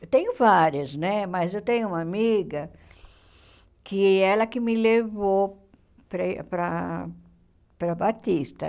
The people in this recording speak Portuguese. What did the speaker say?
Eu tenho várias né, mas eu tenho uma amiga que ela que me levou para para para Batista.